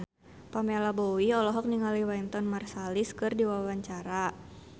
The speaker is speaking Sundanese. Pamela Bowie olohok ningali Wynton Marsalis keur diwawancara